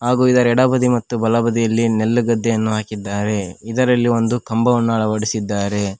ಹಾಗು ಇದರ ಎಡಬದಿ ಮತ್ತು ಬಲಬದಿಯಲ್ಲಿ ನೆಲ್ಲುಗದ್ದೆಯನ್ನು ಹಾಕಿದ್ದಾರೆ ಇದರಲ್ಲಿ ಒಂದು ಕಂಬವನ್ನು ಅಳವಡಿಸಿದ್ದಾರೆ.